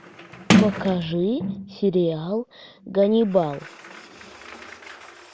покажи сериал ганнибал